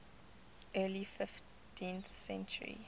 early fifteenth century